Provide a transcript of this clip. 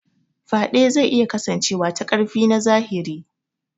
Faɗe zai iya kasancewa ta ƙarfi na zahiri.